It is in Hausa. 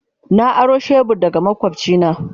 Na aro shebur daga makwabcina.